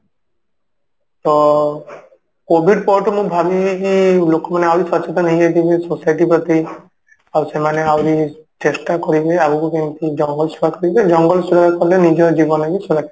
ତ COVID ପରଠୁ ମୁଁ ଭାବିନେଇଛି ଲୋକମାନେ ଆହୁରି ସଚେତନ ହେଇଯାଇଥିବେ society ପ୍ରତି ଆଉ ସେମାନେ ଆହୁରି ଚେଷ୍ଟା କରିବେ ଆଗକୁ କେମିତି ଜଙ୍ଗଲ ସୁରକ୍ଷା କରିବେ ଜଙ୍ଗଲ ସୁରକ୍ଷା କଲେ ନିଜ ଜୀବନ ବି ସୁର